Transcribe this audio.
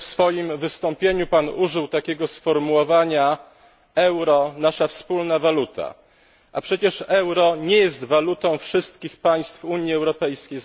W swoim wystąpieniu użył Pan takiego sformułowania euro nasza wspólna waluta, a przecież euro nie jest walutą wszystkich państw Unii Europejskiej.